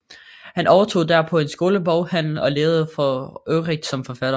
Han overtog derpå en skoleboghandel og levede for øvrigt som forfatter